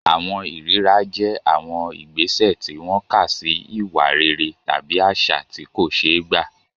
Àwọn ìríra jẹ́ àwọn ìgbésẹ̀ tí wọ́n kà sí ìwà rere tàbí àṣà tí kò ṣeé gbà.